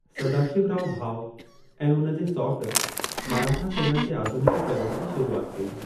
सदाशिवराव भाऊ ऐं उन जे सौट, मराठा सेना जे आधुनिकीकरणु जी शुरूआत कई।